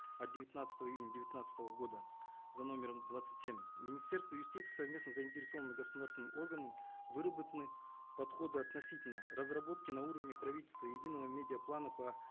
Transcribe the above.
от девятнадцатого июня девятнадцатого года за номером двадцать семь министерством юстиции совместно с заинтересованным государственным органом выработаны подходы относительно разработки на уровне правительства единого медиа плана по